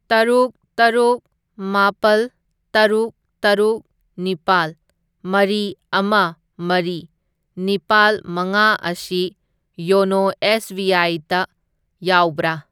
ꯇꯔꯨꯛ ꯇꯔꯨꯛ ꯃꯥꯄꯜ ꯇꯔꯨꯛ ꯇꯔꯨꯛ ꯅꯤꯄꯥꯜ ꯃꯔꯤ ꯑꯃ ꯃꯔꯤ ꯅꯤꯄꯥꯜ ꯃꯉꯥ ꯑꯁꯤ ꯌꯣꯅꯣ ꯑꯦꯁ ꯕꯤ ꯑꯥꯏ ꯇ ꯌꯥꯎꯕ꯭ꯔꯥ?